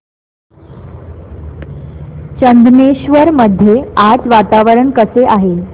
चंदनेश्वर मध्ये आज वातावरण कसे आहे